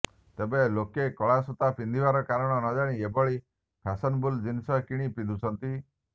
ତେବ ଲୋକେ କଳାସୂତା ପିନ୍ଧିବାର କାରଣ ନଜାଣି ଏଭଳି ଫ୍ୟାସନେବଲ ଜିନିଷ କିଣି ପିନ୍ଧୁଛନ୍ତି